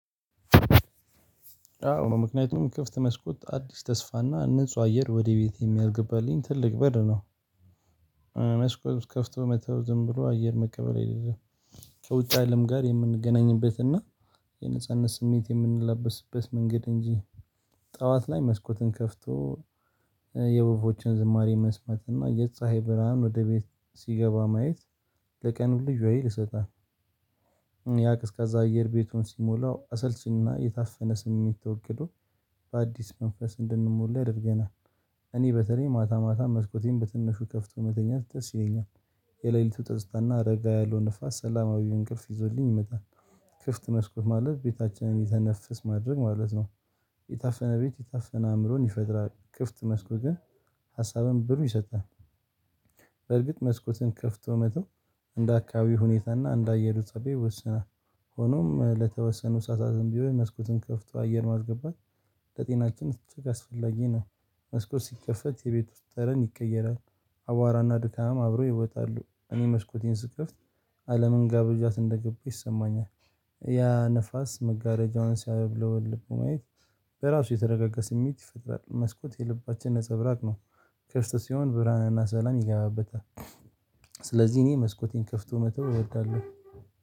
አዎ ምክንያቱም ክፍት መስኮት አዲስ ተስፋና ንጹህ አየር ወደ ቤቴ የሚያስገባልኝ ትልቅ በር ነው መስኮት ከፍቶ መተው ዝም ብሎ አየር መቀበል አይደለም ከውጭ አለም ጋር የምንገናኝበት እና የነጻነት ስሜት የምንላበስበት መንገድ እንጂ ጠዋት ላይ መስኮትን ከፍቶ የወፎዎችን ዝማሬ መስመት እና የፀሀይ ብርሃን ወደ ቤት ሲገባ ማየት ለቀኑ ልዩ ሀይል ይሰጣል። ያ ቀዝቃዛ አየር ቤቱን ሲሞላው አሰልቺና የታፈነ ስሜት ተወግዶ በአዲስ መንፈስ እንድንሞላ ያደርገናል እኔ በተለይ ማታ ማታ መስኮቴን በትንሹ ከፍቶ መተኛት ደስ ይለኛል የሌሊቱ ትዝታና ረጋ ያለው ንፋስ ሰላማዊውን እንቅልፍ ይዞልኝ ይመጣል ክፍት መስኮት ማለት ቤታችንን የተነፍስ ማድረግ ማለት ነው የታፈነ ቤት የታፈነ አምሮን ይፈጥራል ክፍት መስኮትን ግን ሀሳብን ብሩህ ይሰጣል በርግጥ መስኮትን ከፍቶ መተው እንደ አካባቢው ሁኔታ እና እንደ አየሩ ፀባይ ይወሰናል ሆኖም ለተወሰኑ ሰአታትም ቢሆን መስኮትን ከፍቶ አየር ማስገባት ለጤናችን እጅግ አስፈላጊ ነው መስኮት ሲከፈት የቤት ውስጥ ጠረን ይቀየራል አቧራና ድካም አብሮ ይወጣሉ እኔ መስኮቴን ስከፍት አለምን ጋብዣት እንደገባው ይሰማኛል። ያ ንፋስ መጋረጃዋን ሲያውለበልብ በማየት በራሱ የተረጋጋ ስሜት ይፈጥራል መስኮት የልባችን ነፀብራቅ ነው ክፍት ሲሆን ብርሃንና ሰላም ይገባበታል ስለዚህ እኔ መስኮቴን ከፍቶ መተው እወዳለሁ